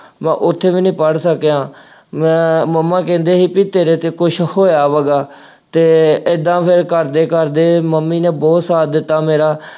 ਮੈਂ ਉੱਥੇ ਵੀ ਨਹੀਂ ਪੜ੍ਹ ਸਕਿਆ। ਮੈਂ, ਮੰਮਾ ਕਹਿੰਦੇ ਸੀ ਕਿ ਤੇਰੇ ਤੇ ਕੁੱਝ ਹੋਇਆ ਹੈਗਾ ਅਤੇ ਏਂਦਾ ਕਰਦੇ ਕਰਦੇ ਮੰਮੀ ਨੇ ਬਹੁਤ ਸਾਥ ਦਿੱਤਾ ਮੇਰਾ।